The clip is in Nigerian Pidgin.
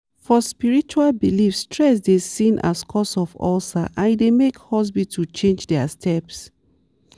for spiritual belief stress dey seen as cause of ulcer and e dey make hospital change their steps.